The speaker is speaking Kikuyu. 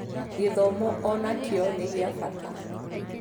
gĩthomo o nakio nĩ kĩa bata